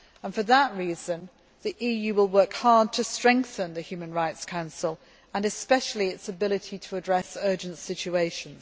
For that reason, the EU will work hard to strengthen the Human Rights Council and especially its ability to address urgent situations.